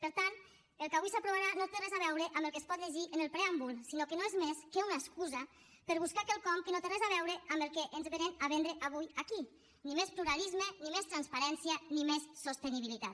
per tant el que avui s’aprovarà no té res a veure amb el que es pot llegir en el preàmbul sinó que no és més que una excusa per buscar quelcom que no té res a veure amb el que ens vénen a vendre avui aquí ni més pluralisme ni més transparència ni més sostenibilitat